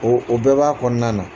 O o bɛɛ b'a kɔnɔna na.